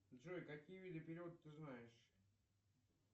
джой какие виды перевода ты знаешь